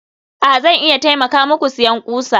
a, Zan iya taimaka muku siyan ƙusa